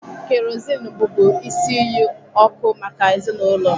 Kerosene bụbu isi iyi ọkụ maka ezinaụlọ.